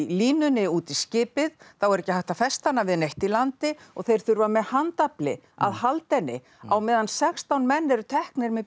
línunni út í skipið þá er ekki hægt að festa hana við neitt í landi og þeir þurfa með handafli að halda henni á meðan sextán menn eru teknir með